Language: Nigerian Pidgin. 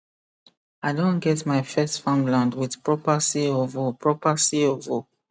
i don get my first farmland with proper cofo proper cofo